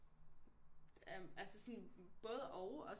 Altså sådan både og